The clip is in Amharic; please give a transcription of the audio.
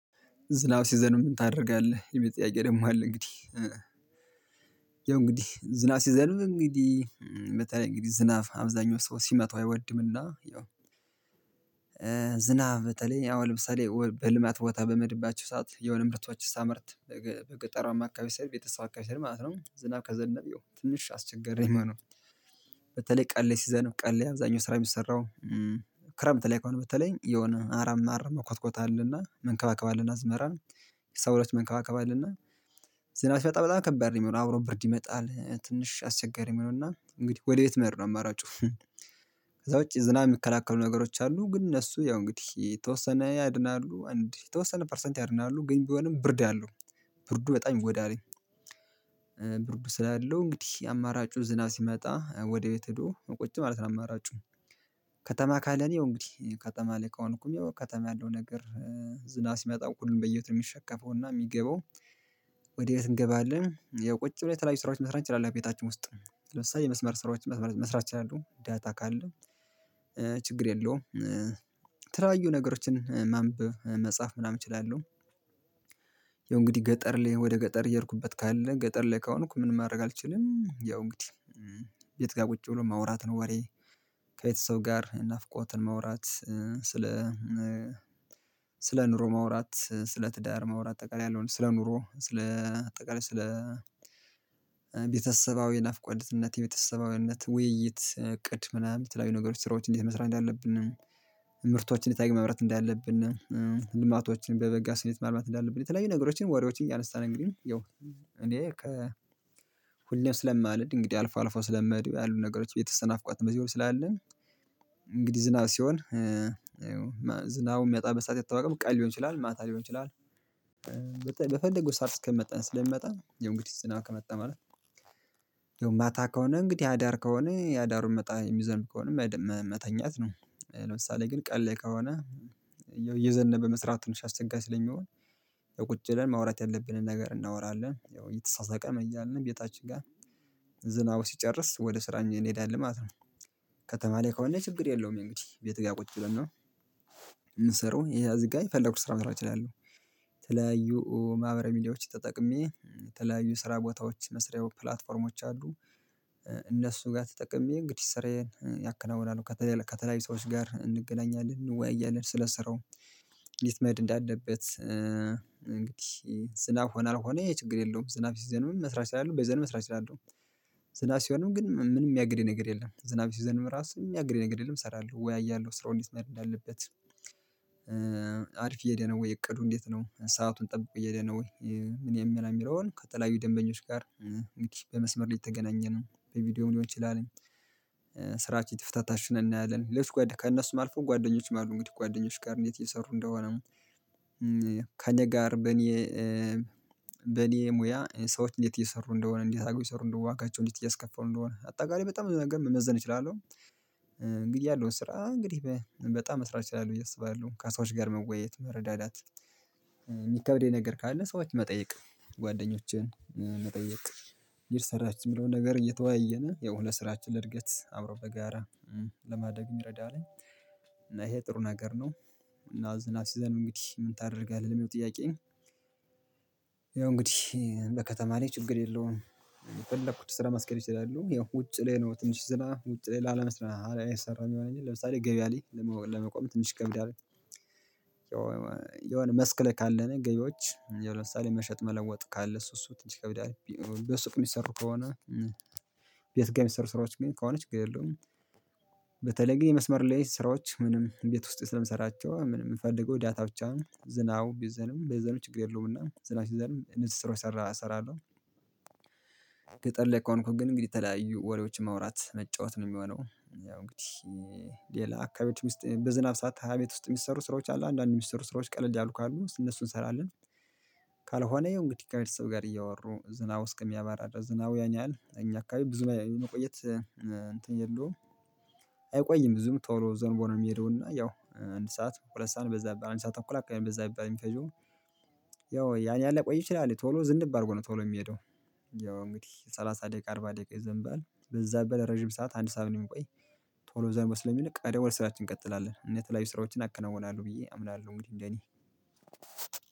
ዝናብ ሲዘንብጨምን ታደርጋለህ የሚል ጥያቄ ደግሞ አለ? እንግዲህ እንግዲህ ዝናብ ሲዘንብ እንግዲህ በተለይ እንግዲህ ዝና አብዛኛው ሰው ሲመታው አይወድምና ያው። ዝናብ በተለይ ያው ልብስ ላይ በልማት ቦታ በመሄድባችሁ ሰዓት የሆነ ምርቶችን ሳመርት በገጠራማ አካባቢ ሰርቭ የተሳካ ቤተሰብ አከባቢ ማለት ነው። ዝናብ ከዘነብ ትንሽ አስቸገሪነው የሚሆነው መኖር። በተለይ ቀን ላይ ሲዘነብ ቀን አብዛኛው ስራ የሚሰራው። ክረምት ላይ ከሆነ በተለይ የሆነ አረም አረም መኮትኮት አለና መንከባከባ አለና አዝመራን ሰብሎች መንከባከባ አለና በጣም በጣም ከባድ ነው። የሚሆነው አብሮ ብርድ ይመጣል ትንሽ አስቸጋሪ የሚሆነው እና እንግዲህ ወደ ቤት መሄድ ነው አማራጩት። ከዛ ውጪ ዝና የሚከላከሉ ነገሮች አሉ ግን እነሱ ያው እንግዲህ የተወሰነ ያድናሉ አንድ የተወሰነ ፐርሰንት ያድናሉ ግን ቢሆንም ብርድ አለው። ብርዱ በጣም ይጎዳልኝ። ስላለው እንግዲህ አማራጩ ዝናብ ሲመጣ ወደ ቤት ሄዶ ቁጭ ማለት ነው አማራጩ። ከተማ ካለን ይኸው እንግዲህ ከተማ ላይ ከሆነ እኮ የሚለው ከተማ ያለው ነገር። ዝናብ ሲመጣ ሁሉም በየቤቱ ነው የሚሸከፈው እና የሚገባው። ወዴት እንገባለን ያው ቁጭ ብለን የተለያዩ ስራዎች መስራት ትችላለህ። ቤታችን ውስጥ ለምሳሌ የመስመር ስራዎች መስመራት እችላለህ ዳታ ካለ ችግር የለውም። የተለያዩ ነገሮችን ማንበብ መጻፍ ምናምን እችላለሁ። ያው እንግዲህ ገጠር ላይ ወደ ገጠር እየሄድኩበት ካለ ገጠር ላይ ካሆንኩ ምን ማድረግ አልችልም ያው እንግዲህ የት ጋር ቁጭ ብሎ ማውራት ነው። ወሬ ከየት ሰው ጋር ናፍቆትን ማውራት ስለ ስለ ኑሮ ማውራት ስለ ትዳር ማውራት አጠቃላይ ያለውን ስለ ኑሮ ስለ አጠቃላይ ስለ ቤተሰባዊ ናፍቆትነት የቤተሰባዊነት ውይይት እቅድ ምናምን የተለያዩ ነገሮች ስራዎች እንዴት መስራት እንዳለብን? ምርቶችን የለያየ ማምራት እንዳለብን ልማቶችን በበጋ ስንት ማልማት እንዳለብን የተለያዩ ነገሮችን ወሬዎችን እያነሳን እንግዲህ ያው እኔ ሁሌም ስለማልሄድ እንግዲህ አልፎ አልፎ ስለምሄዱ ያሉት ነገሮች የቤተሰብ ናፍቆት በዚህ ላይ ስላለን። እንግዲህ ዝናብ ሲሆን የሚያመበት ሰዓት አይታወቅም ቀን ሊሆን ይችላል ማታ ሊሆን ይችላል። ከሰአት እስከመጣን ስለሚመጣ የው እንግዲህ ዝናብ ከመጣም አለ ማለት ማታ ከሆነ እንግዲህ አዳር ከሆነ ያዳሩን መጣ የሚዘም ከሆነ መተኛት ነው። ለምሳሌ ግን ቀላይ ከሆነ መስራት ትንሽ አስቸጋሪ ስለሚሆን ቁጭ ብለን ማውራት ያለብንን ነገር እናወራለን ያው እየተሳሳቀን እያልንም ቤታችን ጋር ሲጨርስ ወደ ስራኛ እንሄዳለን ማለት ነው። ከተማ ላይ ከሆነ ችግር የለውም እንግዲህ ቤት ጋር ቁጭ ብለን ነው። የምንሰራው ይሄ እዝጋ ፈለኩት ስራ መሰራት እችላለሁ። የተለያዩ ማህበረ ሚዲያዎችን ተጠቅሜ የተለያዩ ስራ ቦታዎች መስሪያዎቹ ፕላትፎርሞች አሉ። እነሱ ጋር ተጠቅሜ እንግዲህ ስራዬን ያከናውናል ከተለያዩ ሰዎች ጋር እንገናኛለን እንወያያለን ስለ ስራው። እንዴት መሄድ እንዳለበት? እንግዲህ ዝናብ ሆነ አልሆነ ይሄ ችግር የለውም ዝናብ ሲዘንብም መስራት እችላለው በዝናብ መስራት እችላለው። ዝናብ ሲሆንም ግን ምንም የሚያግደኝ ነገር የለም ዝናብ ሲዘንብም ራሱ የሚያግድ ነገር የለም እሰራለሁ እወያያለሁ ስራውን እንዴት መሄድ እንዳለበት። አሪፍ እየሄደ ነው ወይ እቅዱ እንዴት ነው ሰአቱን ጠብቆ እየሄደ ነው ወይ ምን የሚለውን ከተለያዩ ደንበኞች ጋር። እንግዲህ በመስመር ላይ የተገናኘንም በቪዲዮ ሊሆን ይችላል። ስራችን ትፍታታሽን እናያለን ሌሎች ከእነሱ ማልፈው ጓደኞችም አሉ ጓደኞች ጋር እንዴት እየሰሩ እንደሆነ? ከእኔ ጋር በኔ በኔ ሙያ ሰዎች እንዴት እየሰሩ እንደሆነ እንዴት አርገው እየሰሩ እንዴት ዋጋቸው እንዴት እያስከፋሉ እንደሆነ አጠቃላይ በጣም ብዙ ነገር መመዘን እችላለሁ። እንግዲህ ያለውን ስራ እንግዲህ በጣም መስራት እችላለሁ ብዬ አስባለሁ ካሳዎች ጋር መወያየት መረዳዳት የሚከብደኝ ነገር ካለ ሰዎች መጠየቅ ጓደኞችን መጠየቅ ይሰራችሁ የሚለውን ነገር እየተወያየን ያው ለስራችን ለእድገት አብሮ በጋራ ለማደግ የሚረዳልኝ ይሄ ጥሩ ነገር ነው። እና ዝናብ ሲዘንብ እንግዲህ ምን ታደርጋለህ ለሚለው ጥያቄ? ያው እንግዲህ በከተማ ላይ ችግር የለውም። የፈለኩት ስራ ማስኬድ እችላለው ይኸው ውጭ ላይ ነው ትንሽ ስራ ውጭ ላለመስራት አይሰራም ይላል ለምሳሌ ገበያ ላይ ለመቆም ትንሽ ይከብዳል። የሆነ መስክ ላይ ካለን ገቢዎች ያው ለምሳሌ ሳለ መሸጥ መለወጥ ካለ እሱ እሱ ትንሽ ከብዳል በሱቅ የሚሰሩ ከሆነ ቤት ጋር የሚሰሩ ስራዎ ችግር ች ግን ከሆነች ችግር የለውም። በተለይ ግን የመስመር ሌሊት ስራዎች ምንም እቤት ውስጥ ስለምሰራቸው ምንም የምፈልገው ዳታ ብቻ ነው ዝናቡ ቢዘንብም ባይዘንብም ችግር የለውም እና ዝናብ ሲዘንብ እነዚህ ስራዎች ሰራ እሰራለሁ። ገጥር ላይ ከሆንኩኝ ግን እንግዲህ የተለያዩ ወሬዎችን ማውራት መጫወት ነው የሚሆነው ያው እንግዲህ ሌላ አካባቢ ውስጥ በዝናብ ሰዓት ታዲያ ቤት ውስጥ የሚሰሩ ስራዎች አሉ አንዳንድ የሚሰሩ ስራዎች ቀለል ያሉ ካሉ እነሱን እንሰራለን። ካልሆነ ይሄው እንግዲህ ከሰቤተሰብ ጋር እያወሩ ዝናው እስኪሚያባራ ዝናቡ ያኛል እኛ አካባቢ ብዙ መቆየት እንትን የለውም። አይቆይም ብዙም ቶሎ ዘንቦ ነው የሚሄደው እና ያው አንድ ሰዓት ሁለት ሰዓት በዛ በአንድ ሰዓት ተኩል በዛ በአንድ ሰዓት የሚፈጂው። ያው ያን ያህል ላይ ቆይ ይችላል ቶሎ ዝንብ አድርጎ ነው ቶሎ የሚሄደው። ያው እንግዲህ ሰላሳ ደቂቃ አርባ ደቂቃ ይዘንባል በዛ በረጅም ሰዓት አንድ ሰዓት ነው የሚቆይ። ቶሎ ዘንቦ ስለሚለቅ ቀደሞ ወደ ስራችን እንቀጥላለን የተለያዩ ስራዎችን አከናውናለሁ ብዬ አምናለሁ እንግዲህ እንደኔ